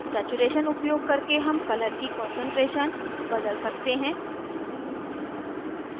saturation saturation उपयोग करके हम color की कान्सन्ट्रेशन बदल सकते हैं